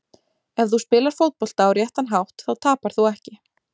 Ef þú spilar fótbolta á réttan hátt þá tapar þú ekki.